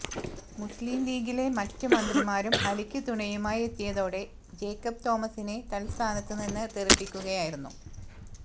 മുസ്ലിംലീഗിലെ മറ്റ് മന്ത്രിമാരും അലിക്ക് തുണയുമായി എത്തിയതോടെ ജേക്കബ് തോമസിനെ തത്സ്ഥാനത്ത് നിന്ന് തെറിപ്പിക്കുകയായിരുന്നു